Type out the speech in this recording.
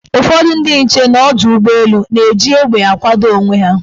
Ụfọdị ndị nche n' ọdọụgbọelu na-eji egbe akwakọ onwe ha.